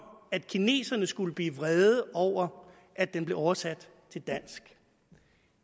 at kineserne skulle blive vrede over at den blev oversat til dansk